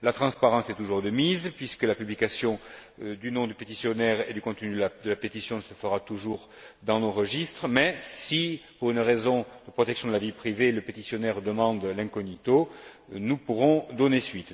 La transparence est toujours de mise, puisque la publication du nom du pétitionnaire et du contenu de la pétition se fera toujours dans nos registres mais si, pour une raison de protection de la vie privée, le pétitionnaire demande l'incognito, nous pourrons lui donner raison.